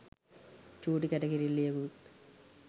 චූටි කැට කිරිල්ලියෙකුත්